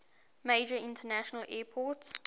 major international airport